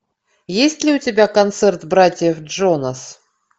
есть ли у тебя концерт братьев джонас